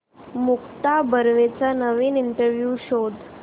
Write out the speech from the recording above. मुक्ता बर्वेचा नवीन इंटरव्ह्यु शोध